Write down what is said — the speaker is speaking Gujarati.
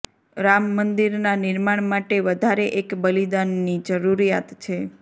રામ મંદિરનાં નિર્માણ માટે વધારે એક બલિદાનની જરૂરિયાત છે